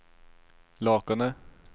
Lakene